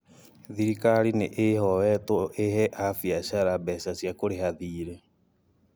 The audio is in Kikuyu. Thirikari nĩ ĩhoetwo ĩhe abiacara mbeca cia kũrĩha thirĩ